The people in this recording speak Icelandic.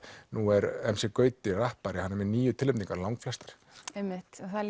nú er m c Gauti rappari með níu tilnefningar langflestar einmitt það